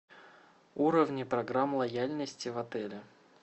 уровни программ лояльности в отеле